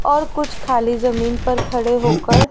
और कुछ खाली जमीन पर खड़े होकर--